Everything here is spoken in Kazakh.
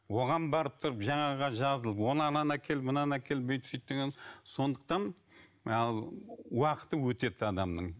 оған барып тұрып жаңағыға жазылып оны ананы әкел мынаны әкел бүйт сөйт деген сондықтан ал уақыты өтеді адамның